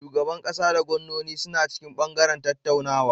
Shugaban ƙasa da gwannoni suna cikin bangaren zattarwa.